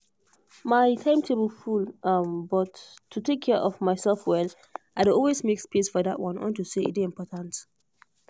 my timetable um full but to take care of myself well i dey always make space for that one unto say e dey important